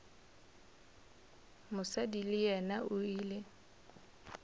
mosadi le yena o ile